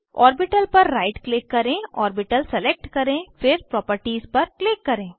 orbital पर right click करें orbital select करें फिर प्रॉपर्टीज पर क्लिक करें